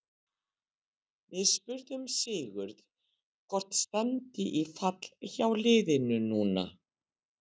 Við spurðum Sigurð hvort stefndi í fall hjá liðinu núna?